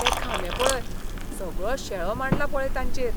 ते खांबे पळय, सगळो शेळो मांडला पळय तांचेर.